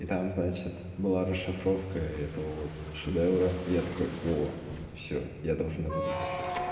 там значит было расшифровка это вот шедевра я такой о все я должен это записать